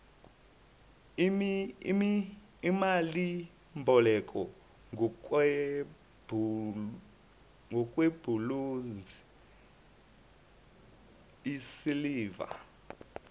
imalimboleko ngokwebhulonzi isiliva